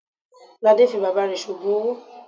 Lade fi bàbá rẹ̀ ṣe òògùn owó.